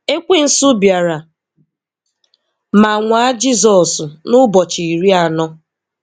Ekwensu bịara ma nwaa Jizọsn n'ụbọchị iri anọ.